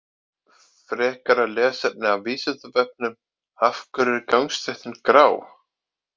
Frekara lesefni af Vísindavefnum: Af hverju er gangstéttin grá?